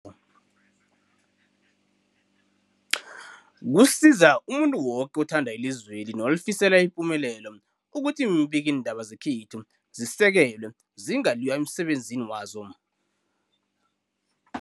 Kusiza umuntu woke othanda ilizweli nolifisela ipumelelo ukuthi iimbikiindaba zekhethu zisekelwe, zingaliywa emsebenzini wazo.